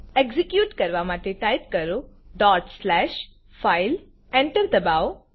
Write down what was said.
execute કરવા માટે type કરો dot slash file file Enter enter દબાવો